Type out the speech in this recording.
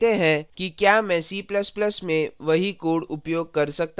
देखते हैं कि क्या मैं c ++ में भी वही code उपयोग कर सकता हूँ